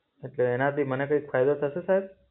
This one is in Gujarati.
એટલે એનાંથી મને કઈંક ફાયદો થશે સાહેબ?